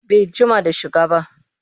Bai jima da shiga ba